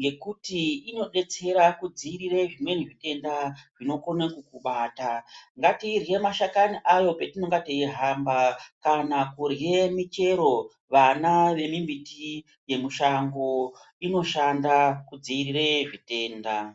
ngekuti inodetsera kudzivirira zvimweni zvitenda zvinokana kukubata ngatirye mashakani ayo patinonga teyihamba kana kurya michero vana vemumbiti yemishango inoshanda kudzivirira zvitenda.